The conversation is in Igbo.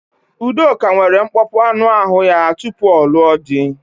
Udoka nwere nkpọpu anụ ahụ ya tupu ọ lụọ di.